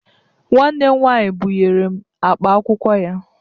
Nwanne m nwaanyị bụnyere m akpa akwụkwọ ya.